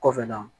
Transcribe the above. Kɔfɛ na